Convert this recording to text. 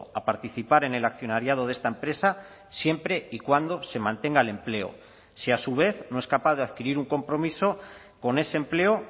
a participar en el accionariado de esta empresa siempre y cuando se mantenga el empleo si a su vez no es capaz de adquirir un compromiso con ese empleo